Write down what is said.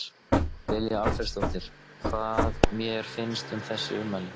Lilja Alfreðsdóttir: Hvað mér finnst um þessi ummæli?